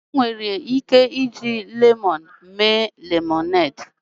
Enwere ike iji lemoonu mee lemọned.